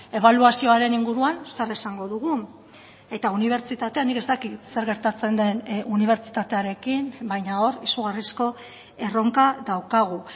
ebaluazioaren inguruan zer esango dugu eta unibertsitatea nik ez dakit zer gertatzen den unibertsitatearekin baina hor izugarrizko erronka daukagu